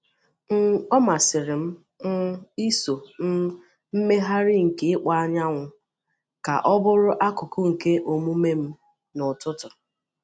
um Ọ masịrị m um iso um mmegharị nke ịkpọ̀ anyanwụ ka ọ bụrụ akụkụ nke omume m n’ụtụtụ.